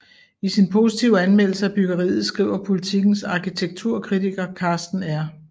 I sin positive anmeldelse af byggeriet skriver Politikens arkitekturkritiker Karsten R